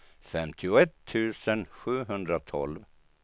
femtioett tusen sjuhundratolv